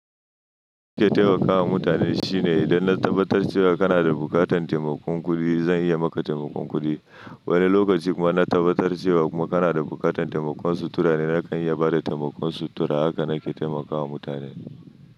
Nke temakawa mutane, shine idan na tabbatar cewa kana da buƙatar taimakon kuɗi, zan iya maka taimakon kuɗi. Wani lokaci kuma na tabbatar cewa kuma kana da buƙatan taimakon sutura ne, nakan iya bada taimakon sutura. Haka na ke taimakawa mutane.